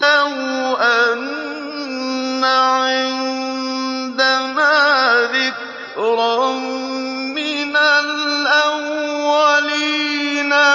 لَوْ أَنَّ عِندَنَا ذِكْرًا مِّنَ الْأَوَّلِينَ